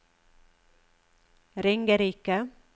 Ringerike